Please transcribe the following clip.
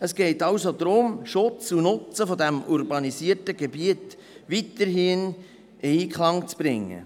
Es geht also darum, Schutz und Nutzen dieses urbanisierten Gebiets weiterhin in Einklang zu bringen.